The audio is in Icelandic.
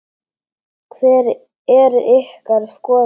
Hver er ykkar skoðun?